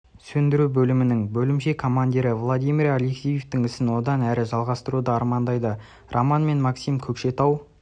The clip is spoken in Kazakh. сөндіру бөлімінің бөлімше командирі владимир алексеевтің ісін одан әрі жалғастыруды армандайды роман мен максим көкшетау